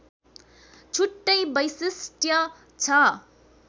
छुट्टै वैशिष्ट्य छ